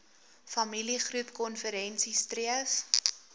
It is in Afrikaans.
familiegroep konferensie streef